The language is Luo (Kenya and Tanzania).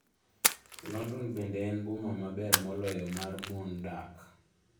London bende en boma maber moloyo mar mon dak.